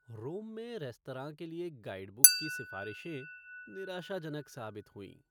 रोम में रेस्तरां के लिए गाइडबुक की सिफारिशें निराशाजनक साबित हुईं।